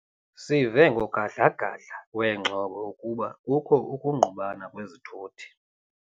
Sive ngogadla-gadla wengxolo ukuba kukho ukungqubana kwezithuthi.